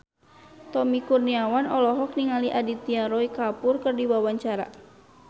Tommy Kurniawan olohok ningali Aditya Roy Kapoor keur diwawancara